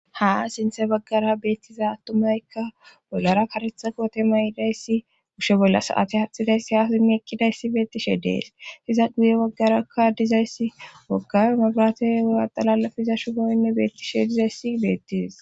Ha sinthe baggara beetiza attumaykka bollara kareta koote mayidayssi kushe bolla sa7ate aatidayssi haa simmi eqqidayssi beettishe de7es;iza guye bagarakka diza issi wogga mabraate wuha xalaalappe yiza shuboynne beettishe dizayssi beetes.